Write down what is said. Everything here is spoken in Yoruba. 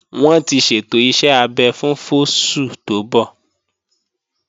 Wọ́n ti ṣètò iṣẹ́ abẹ fún fóṣù tó ń bọ̀